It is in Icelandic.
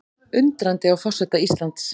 Undrandi á forseta Íslands